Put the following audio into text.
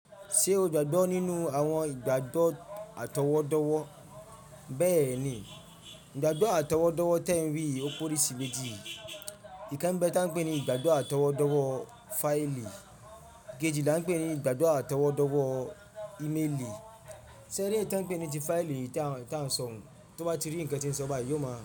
Ṣé o gbàgbọ́ nínú àwọn ìgbàgbọ́ àtọwọ́dọ́wọ́? Bẹ́ẹ̀ni, ìgbàgbọ́ àtọwọ́dọ́wọ́ tí ẹ ń rí ọ̀pọ̀ risi méjì. Ìkan bẹ́ ta n pè ní igbadọ àtọwọ́dọ́wọ́ fáìlì, ìkejì la n pè ní igbadọ àtọwọ́dọ́wọ́ imeli. Ṣeré èyí tí n pè ní ti fáìlì ta n tan son tọba ti rí nǹkan tí n sọ ba yọ ma.